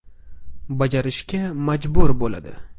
Bajarishga majbur bo‘ladi.